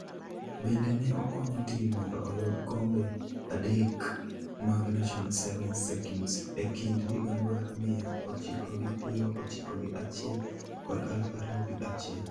Bende ne okonyo tim mondo oyud kombe adek mag National Sevens Circuit e kind higa mar miya ochiko gi piero ochiko gi achiel kod aluf ariyo gi achiel.